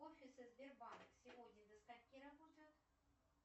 офисы сбербанка сегодня до скольки работают